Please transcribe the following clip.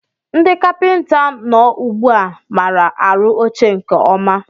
Ndị kapinta nọ ugbu a maara arụ oche nke ọma